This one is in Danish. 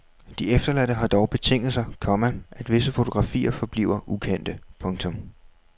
De efterladte har dog betinget sig, komma at visse fotografier forbliver ukendte. punktum